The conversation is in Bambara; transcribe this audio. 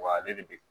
Wa ale de bɛ